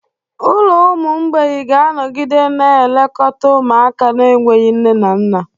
Ụlọ ụmụ mgbei ga-anọgide na-elekọta ụmụaka na-enweghị nne na nna.